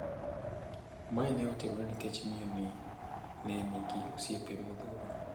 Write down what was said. Mae ne timore nikech miyo ni ne nigi osiepe modhuro.